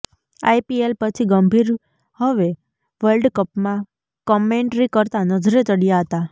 IPL પછી ગંભીર હવે world કપમાં કમેંટ્રી કરતા નજરે ચડ્યા હતા